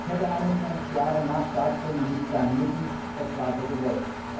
Das hätte 21 Jahre nach Staatsgründung nicht sein müssen, das war so gewollt.